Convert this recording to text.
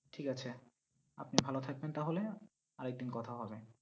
ঠিক আছে, আপনি ভালো থাকবেন তাহলে, আরেকদিন কথা হবে